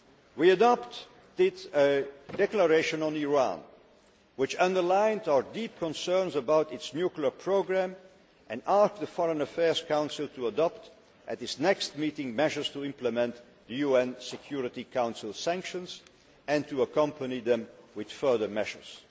We adopted a declaration on Iran which underlined our deep concerns about its nuclear programme and asked the Foreign Affairs Council to adopt at its next meeting measures to implement UN Security Council sanctions and to accompany them with further measures.